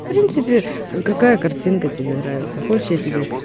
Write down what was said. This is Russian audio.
в принципе какая картинка тебе нравится хочешь я тебе